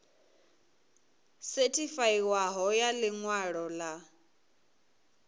sethifaiwaho ya ḽi ṅwalo ḽa